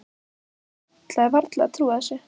Ég ætlaði varla að trúa þessu.